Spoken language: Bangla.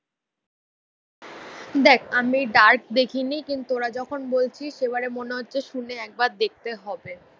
দেখ আমি ডার্ক দেখিনি, কিন্তু ওরা যখন বলছি সেবারে মনে হচ্ছে শুনে একবার দেখতে হবে